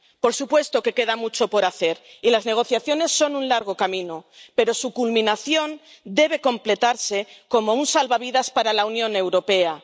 Por supuesto que queda mucho por hacer y las negociaciones son un largo camino, pero su culminación debe completarse como un salvavidas para la Unión Europea.